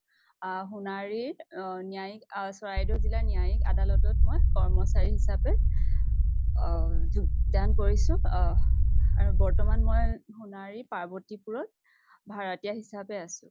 আ সোণাৰীত আ ন্য়ায়িক আ চৰাইদেউ জিলা ৰ ন্য়ায়িক আ আদালত ত মই কৰ্মচাৰী হিচাপে আ যোগদান কৰিছো আ আৰু বৰ্তমান মই সোণাৰী পাৰ্ৱতি পুৰ ত ভাৰতীয় হিচাপে আছো ।